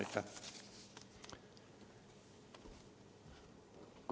Aitäh!